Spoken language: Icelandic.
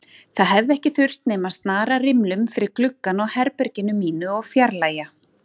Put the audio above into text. Það hefði ekki þurft nema að snara rimlum fyrir gluggann á herberginu mínu og fjarlægja